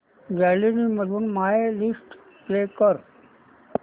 gallery मधून my list play कर